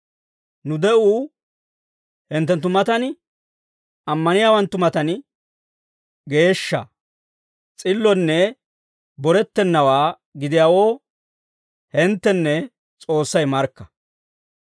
Nu de'uu hinttenttu matan, ammaniyaawanttu matan, geeshsha, s'illonne borettennawaa gidiyaawoo hinttenne S'oossay markka.